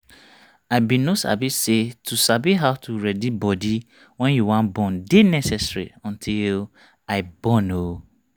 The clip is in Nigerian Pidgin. i bin no sabi say to sabi how to ready body wen you wan born dey necessary until i born ooo